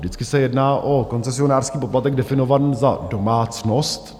Vždycky se jedná o koncesionářský poplatek definovaný za domácnost.